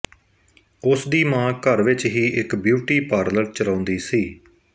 ਉਸਦੀ ਮਾਂ ਘਰ ਵਿੱਚ ਹੀ ਇੱਕ ਬਿਊਟੀ ਪਾਰਲਰ ਚਲਾਉਂਦੀ ਸੀ